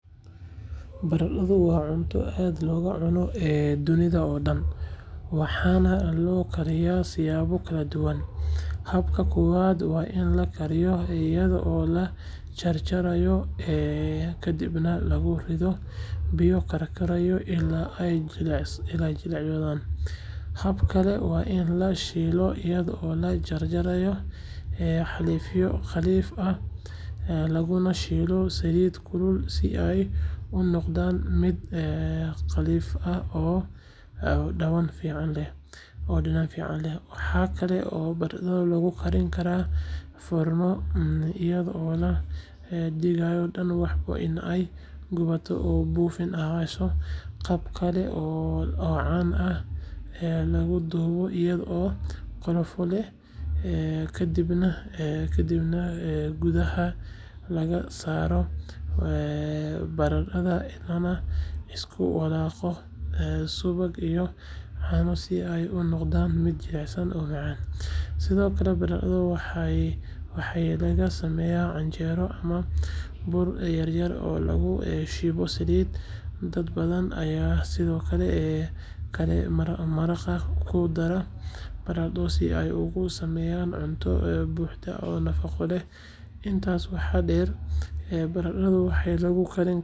Baradhadu waa cunto aad looga cuno dunida oo dhan, waxaana loo kariyaa siyaabo kala duwan. Habka koowaad waa in la kariyo iyadoo la jarjaro kaddibna lagu rido biyo karkaraya ilaa ay jilcayso. Hab kale waa in la shiilo iyadoo la jarjaro xaleefyo khafiif ah laguna shiilo saliid kulul si ay u noqoto mid qalleef ah oo dhadhan fiican leh. Waxa kale oo baradhada lagu karin karaa foorno, iyadoo la dhigayo dhan walba in ay gubato oo bunni ahayso. Qaab kale oo caan ah waa in la dubo iyadoo qolofo leh, kaddibna gudaha laga saaro baradhada lana isku walaaqo subag iyo caano si ay u noqoto mid jilicsan oo macaan. Sidoo kale, baradhada waxaa laga sameeyaa canjeero ama buuro yar yar oo lagu shiilo saliid. Dad badan ayaa sidoo kale maraqa ku dara baradhada si ay ugu sameeyaan cunto buuxda oo nafaqo leh. Intaas waxaa dheer, baradhada waxaa lagu karin karaa kariyaha cadaadiska leh ama microwave-ka, taas oo ka dhigi karta in si degdeg ah loo diyaariyo. Hab kasta oo aad u doorato, baradhadu waa mid dhadhan iyo nafaqo leh, waxayna u adeegtaa siyaabo badan oo qoysaska Soomaaliyeed ay jecel.